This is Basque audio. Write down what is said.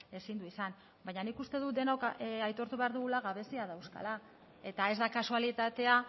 ezin du izan baina nik uste dut denok aitortu behar dugula gabeziak dauzkala eta ez da kasualitatea